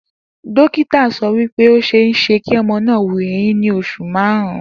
Dókítà so̩ wí pé ó s̩eé s̩e kí o̩mo̩ náà wu eyín ní os̩ù márùn-ún